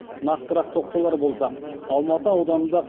нақтырақ тоқталар болсақ алматы ауданында